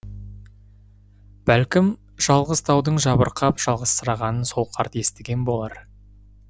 бәлкім жалғыз таудың жабырқап жалғызсырағанын сол қарт естіген болар